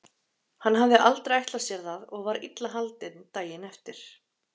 Hann hafði aldrei ætlað sér það og var illa haldinn daginn eftir.